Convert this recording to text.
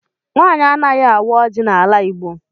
Nwaanyị anaghị awa oji n' ala igbo.